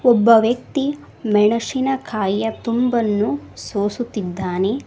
ಒಬ್ಬ ವ್ಯಕ್ತಿ ಮೆಣಸಿನಕಾಯಿಯ ತುಂಬನ್ನು ಸೋಸುತಿದ್ದಾನೆ.